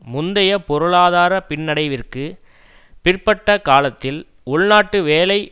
முந்தைய பொருளாதார பின்னடைவிற்குப் பிற்பட்ட காலத்தில் உள்நாட்டு வேலை